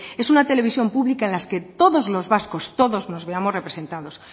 es una televisión pública en la que todos los vascos todos nos veamos representados